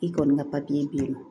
I kɔni ka papiye d'i ma